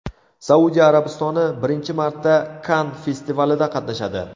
Saudiya Arabistoni birinchi marta Kann festivalida qatnashadi.